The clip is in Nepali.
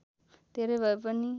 धेरै भए पनि